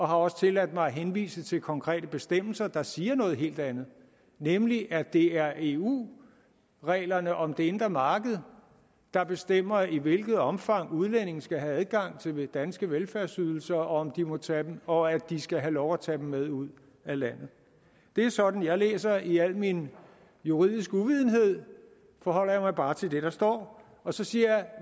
har også tilladt mig at henvise til konkrete bestemmelser der siger noget helt andet nemlig at det er eu reglerne om det indre marked der bestemmer i hvilket omfang udlændinge skal have adgang til de danske velfærdsydelser og om de må tage dem og at de skal have lov at tage dem med ud af landet det er sådan jeg læser det i al min juridiske uvidenhed forholder jeg mig bare til det der står og så siger